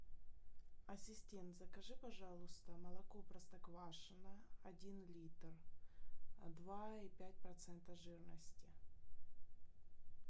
ассистент закажи пожалуйста молоко простоквашино один литр два и пять процента жирности